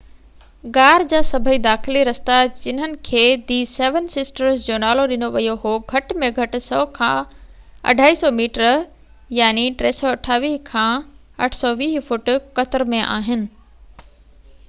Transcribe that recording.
غار جا سڀئي داخلي رستا، جنهن کي دي سيون سسٽرز جو نالو ڏنو ويو هو، گهٽ ۾ گهٽ 100 کان 250 ميٽر 328 کان 820 فوٽ قطر ۾ آهن